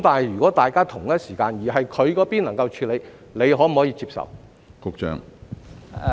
如果大家同一時間進行，而署方那邊能夠處理，局方可否接受？